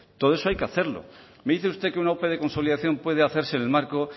todo eso hay que hacerlo me dice usted que una ope de consolidación puede hacerse en el marco